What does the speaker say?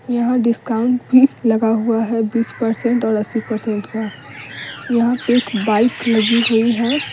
यहां डिस्काउंट भी लगा हुआ है बीस पर्सेन्ट ओर अस्सी पर्सेन्ट का यहां पे बाइक लगी हुई है।